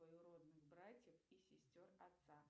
двоюродных братьев и сестер отца